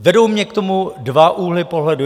Vedou mě k tomu dva úhly pohledu.